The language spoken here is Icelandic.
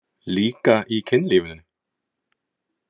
Líka í kynlífinu?